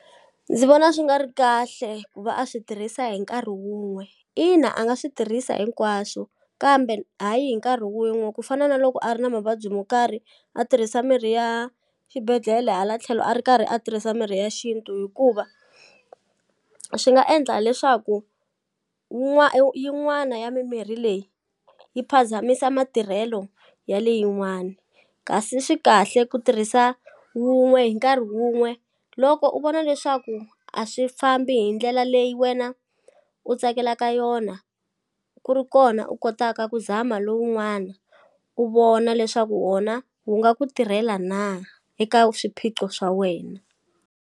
Ndzi vona swi nga ri kahle ku va a swi tirhisa hi nkarhi wun'we ina a nga swi tirhisa hinkwaswo kambe hayi hi nkarhi wun'we ku fana na loko a ri na mavabyi mo karhi a tirhisa mirhi ya xibedhlele hala tlhelo a ri karhi a tirhisa mirhi ya xintu hikuva swi nga endla leswaku yin'wani ya mimirhi leyi yi phazamisa matirhelo ya le yin'wani kasi swi kahle ku tirhisa wun'we hi nkarhi wun'we loko u vona leswaku a swi fambi hi ndlela leyi wena u tsakelaka yona ku ri kona u kotaka ku zama lowun'wana u vona leswaku wona wu nga ku tirhela na eka swiphiqo swa wena.